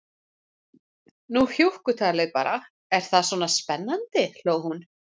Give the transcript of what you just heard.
Nú hjúkkutalið bara, er það svona spennandi, hló hún.